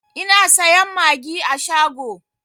Ina sayan magi a shago